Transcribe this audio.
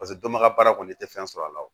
Paseke dɔnbaga baara kɔni tɛ fɛn sɔrɔ a la o